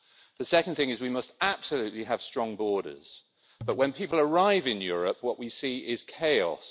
The second thing is we must absolutely have strong borders but, when people arrive in Europe, what we see is chaos.